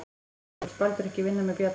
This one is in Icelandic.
Eða vill Baldur ekki vinna með Bjarna?